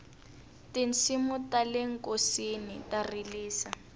tinsimu tale nkosini ta rilisa